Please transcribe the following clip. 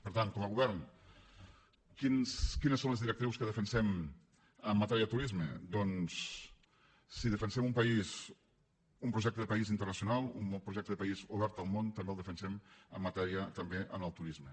per tant com a govern quines són les directrius que defensem en matèria de turisme doncs si defensem un país un projecte de país internacional un bon projecte de país obert al món també el defensem en matèria també del turisme